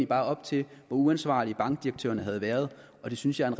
bare op til hvor uansvarlige bankdirektørerne havde været og det synes jeg er